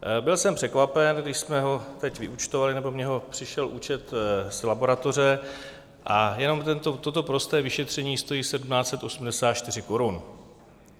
Byl jsem překvapen, když jsme ho teď vyúčtovali, nebo mně přišel účet z laboratoře, a jenom toto prosté vyšetření stojí 1 784 korun.